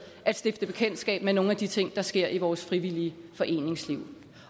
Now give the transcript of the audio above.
stifte bekendtskab med nogle af de ting der sker i vores frivillige foreningsliv